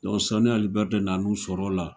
Donc Sɔni Ali bɛri de nan'u sɔrɔ o de la.